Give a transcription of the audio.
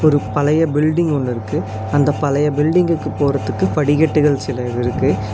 ஒரு பழைய பில்டிங் ஒன்னிருக்கு அந்த பழைய பில்டிங்குக்கு போறதுக்கு படிக்கட்டுகள் சிலது இருக்கு.